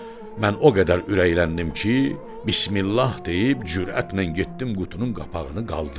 Mən o qədər ürəkləndim ki, bismillah deyib cürətlə getdim qutunun qapağını qaldırdım.